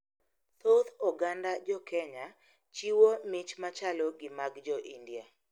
Thoth oganda jokenya chiwo mich machalo gi mag jo India.